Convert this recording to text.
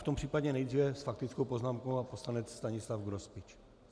V tom případě nejprve s faktickou poznámkou pan poslanec Stanislav Grospič.